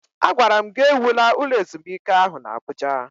Agwara m gi ewula ụlọ ezumike ahu na Abụja!